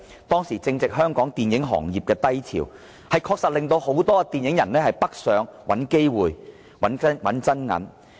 當時正值香港電影行業的低潮，有關政策確實令大量電影人北上找機會、賺真銀。